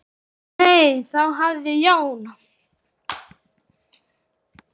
Nei, þá hafði Jón